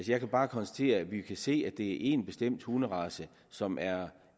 jeg kan bare konstatere at vi kan se at det er én bestemt hunderace som er